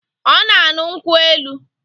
Ọ na-aṅụ nkwụ elu